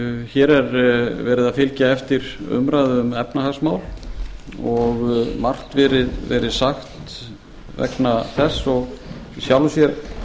hér er verið að fylgja eftir umræðu um efnahagsmál og margt verið sagt vegna þess og í sjálfu sér tel